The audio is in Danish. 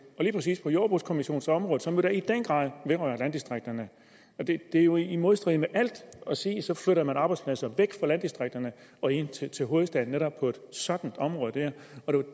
lige præcis på jordbrugskommissionernes område som i den grad vedrører landdistrikterne det er jo i modstrid med alt at sige at så flytter man arbejdspladser væk fra landdistrikterne og ind til til hovedstaden netop på sådan et område det er